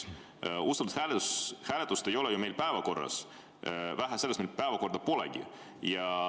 Usaldushääletust ei ole ju meil päevakorras, vähe sellest, meil päevakorda polegi.